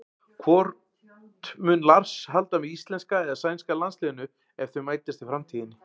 Hvort mun Lars halda með íslenska eða sænska landsliðinu ef þau mætast í framtíðinni?